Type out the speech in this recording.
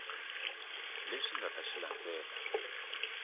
leswi nga ta xi landzela